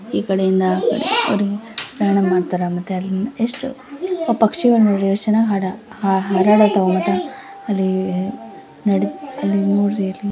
ಈ ಕಡೆ ಇಂದ ಕಡಿವರೆಗಿ ಪ್ರಯಾಣ ಮಾಡತಾರ ಮತ್ತ ಅಲ್ಲಿ ಎಷ್ಟ್ ಆ ಪಕ್ಷಿಗಳನ್ನು ನೋಡ್ರಿ ಎಷ್ಟ್ ಚೆನ್ನಾಗಿ ಆಡ ಹರಡತಾವ್ ಮತ್ತೆ ಅಲ್ಲಿ ನಡಿ ಅಲ್ಲಿ ನೋಡ್ರಿ ಅಲ್ಲಿ .---